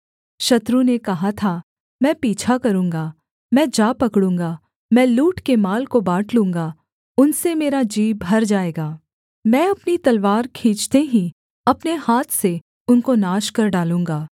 शत्रु ने कहा था मैं पीछा करूँगा मैं जा पकड़ूँगा मैं लूट के माल को बाँट लूँगा उनसे मेरा जी भर जाएगा मैं अपनी तलवार खींचते ही अपने हाथ से उनको नाश कर डालूँगा